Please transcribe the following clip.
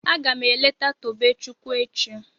Agam eleta Tobechukwu echi